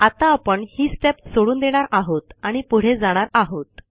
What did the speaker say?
आत्ता आपण ही स्टेप सोडून देणार आहोत आणि पुढे जाणार आहोत